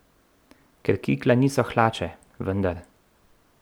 Ker kikla niso hlače, vendar.